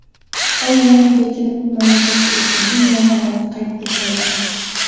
Oy yarmiga kelib, mamlakatda epidemiya holati qayd etildi.